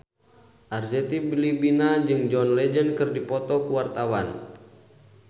Arzetti Bilbina jeung John Legend keur dipoto ku wartawan